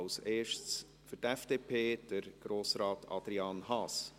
Als Erstes, für die FDP, Grossrat Adrian Haas.